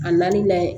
A na n'a ye